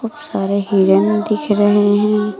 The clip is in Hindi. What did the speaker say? सारे हिरन दिख रहे हैं।